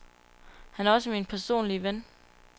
Han er også min personlige ven.